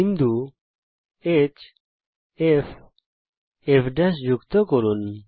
বিন্দু hfফ কে যুক্ত করুন